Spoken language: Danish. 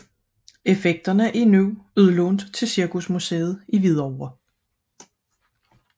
Effekterne er nu udlånt til Cirkusmuseet i Hvidovre